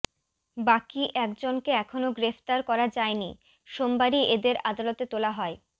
বাকি একজনকে এখনও গ্রেফতার করা যায়নি সোমবারই এদের আদালতে তোলা হয়